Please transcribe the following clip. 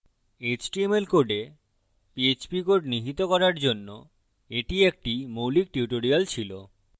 html code php code নিহিত করার জন্য এটি একটি মৌলিক tutorial ছিল